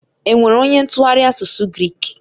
Enwere onye ntụgharị asụsụ Grik?